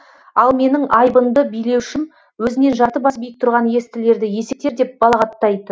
ал менің айбынды билеушім өзінен жарты бас биік тұрған естілерді есектер деп балағаттайтын